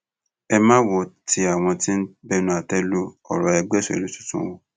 ẹ má wo ti àwọn tó ń bẹnu àtẹ lu ọrọ ẹgbẹ òṣèlú tuntun o